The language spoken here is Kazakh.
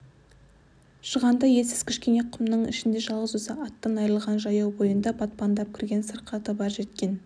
шығанда елсіз кішкене құмның ішінде жалғыз өзі аттан айрылған жаяу бойында батпандап кірген сырқаты бар жеткен